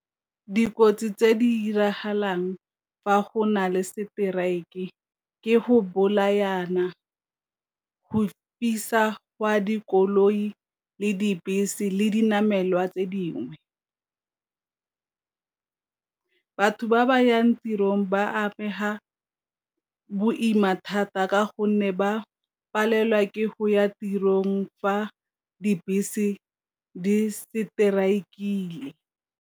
Dikotsi tse di diragalang fa go na le strike ke go bolayana, go fisa kwa dikoloi le dibese le dinamelwa tse dingwe. Batho ba ba yang tirong ba amega boima thata ka gonne ba palelwa ke go ya tirong fa dibese di strike-ile.